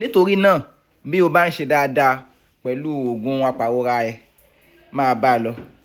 nítorí náà bí ó bá ń ṣe dáadáa pẹ̀lú oògùn apàrora ẹ máa bá a lọ